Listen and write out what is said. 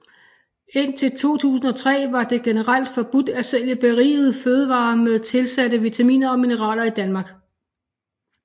Indtil 2003 var det generelt forbudt at sælge berigede fødevarer med tilsatte vitaminer og mineraler i Danmark